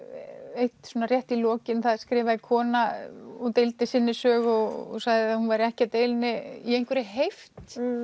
eitt svona rétt í lokin það skrifaði kona og deildi sinni sögu og sagði að hún væri ekkert í einhverri heift